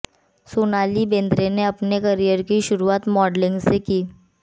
सोनाली बेन्द्रे ने अपने करियर की शुरूआत मॉडलिंग से की